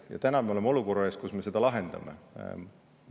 Ja nüüd me oleme olukorra ees, kus me seda lahendama.